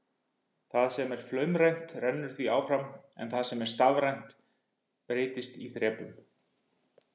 Það sem er flaumrænt rennur því áfram en það sem er stafrænt breytist í þrepum.